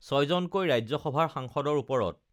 ছয়জনকৈ ৰাজ্য সভাৰ সাংসদৰ ওপৰত